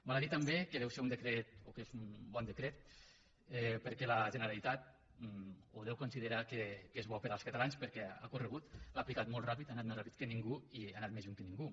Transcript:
val a dir també que deu ser o que és un bon decret perquè la generalitat o deu considerar que és bo per als catalans ha corregut l’ha aplicat molt ràpid ha anat més ràpid que ningú i ha anat més lluny que ningú